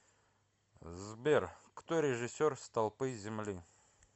сбер кто режиссер столпы земли